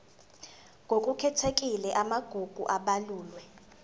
ngokukhethekile amagugu abalulwe